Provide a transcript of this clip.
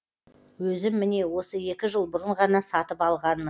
өзім міне осы екі жыл бұрын ғана сатып алғанмын